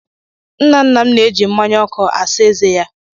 Nna nna m na-eji mmánya ọkụ asa ezé ya.